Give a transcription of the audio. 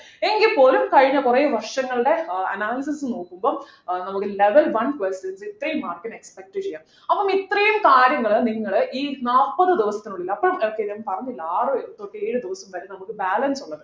എങ്കിൽപോലും കഴിഞ്ഞ കുറെ വർഷങ്ങളുടെ ആഹ് analysis നോക്കുമ്പം ഏർ നമുക്ക് level one questions ഇത്രയും mark ന് expect ചെയ്യാം അപ്പോൾ ഇത്രയും കാര്യങ്ങൾ നിങ്ങൾ ഈ നാല്പത് ദിവസത്തിനുള്ളിൽ അപ്പൊ ഏർ പിന്നെ പറഞ്ഞില്ല ആറു തൊട്ട് ഏഴു ദിവസം വരെ നമുക് balance ഉള്ളത്